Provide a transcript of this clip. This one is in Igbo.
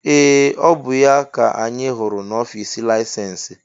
Ee! Ọ bụ ya ka anyị hụrụ n'ọfịs laịsensị?